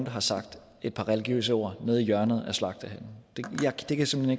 har sagt et par religiøse ord nede i hjørnet af slagtehallen jeg kan simpelt